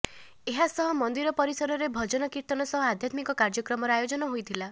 ଏହାସହ ମନ୍ଦିର ପରିସରରେ ଭଜନ କୀର୍ତ୍ତନ ସହ ଆଧ୍ୟାତ୍ମିକ କାର୍ଯ୍ୟକ୍ରମର ଆୟୋଜନ ହୋଇଥିଲା